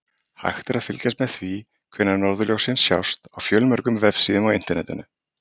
Hægt er að fylgjast með því hvenær norðurljósin sjást á fjölmörgum vefsíðum á Internetinu.